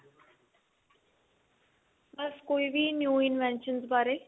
ਬਸ ਕੋਈ ਵੀ new invention ਬਾਰੇ